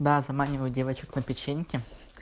да заманивают девочек на печеньки